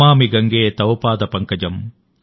నమామి గంగే తవ్ పాద పంకజం